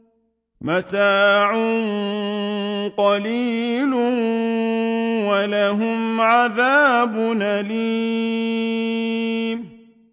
مَتَاعٌ قَلِيلٌ وَلَهُمْ عَذَابٌ أَلِيمٌ